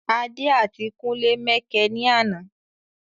Adé àti kúnlé mẹkẹ ní àná